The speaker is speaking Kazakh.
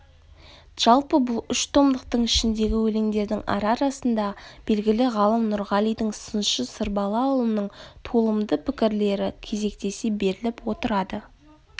жалпы бұл үш томдықтың ішіндегі өлендердің ара-арасында белгілі ғалым нұрғалидың сыншы сарбалаұлының толымды пікірлері кезектесе беріліп отырады